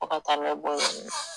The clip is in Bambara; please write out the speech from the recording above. Fɔ ka taa ne bɔ yen.